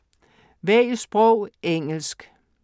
Vælg sprog: engelsk